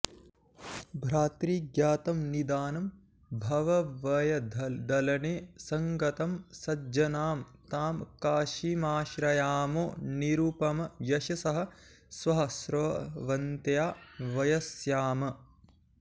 भ्रातर्ज्ञातं निदानं भवभयदलने सङ्गतं सज्ज्नां तां काशीमाश्रयामो निरुपमयशसः स्वःस्रवन्त्या वयस्याम्